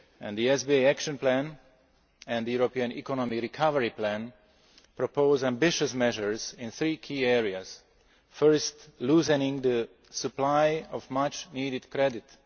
The SBA action plan and the European economic recovery plan propose ambitious measures in three key areas first, loosening the supply of much needed credit